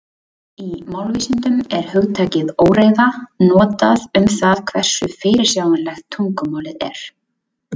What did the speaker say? Í málvísindum er hugtakið óreiða notað um það hversu fyrirsjáanlegt tungumálið er.